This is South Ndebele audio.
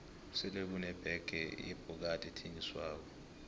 sele kune bege yebhokadi ethengiswako